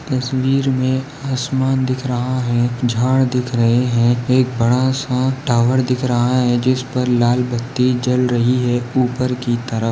तस्वीर मे आसमान दिख रहा है झाड दिख रहे है एक बड़ा सा टॉवर दिख रहा है जिस पर लाल बत्ती जल रही है। ऊपर की तरफ --